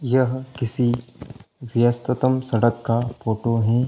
यह किसी व्यस्ततम सड़क का फोटो है।